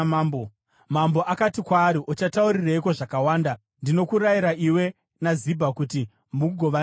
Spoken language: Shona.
Mambo akati kwaari, “Uchataurireiko zvakawanda? Ndinokurayira iwe naZibha kuti mugovane minda.”